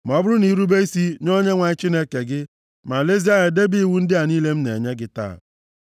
ma ọ bụrụ na i rube isi nye Onyenwe anyị Chineke gị, ma lezie anya debe iwu ndị a niile m na-enye gị taa.